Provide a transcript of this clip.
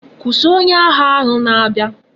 Kwusi! onye agha ahu na abia!